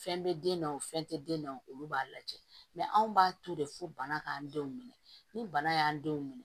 Fɛn bɛ den na wo fɛn tɛ den na o b'a lajɛ anw b'a to de fo bana k'an denw minɛ ni bana y'an denw minɛ